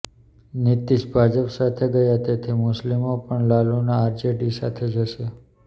નીતીશ ભાજપ સાથે ગયા તેથી મુસ્લિમો પણ લાલુના આરજેડી સાથે જશે